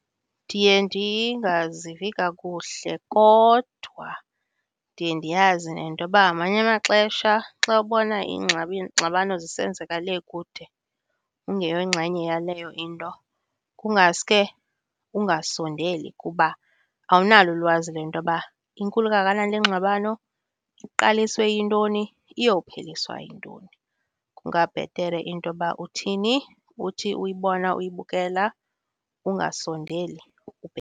Ndiye ndingazivi kakuhle, kodwa ndiye ndiyazi nentoba ngamanye amaxesha xa ubona iingxabano zisenzeka le kude ungeyongxenye yaleyo into kungaske ungasondeli kuba awunalo ulwazi lwentoba inkulu kangakanani le ngxabano, iqaliswe yintoni, iyopheliswa yintoni. Kungabhere intoba uthini, uthi uyibona uyibukela ungasondeli .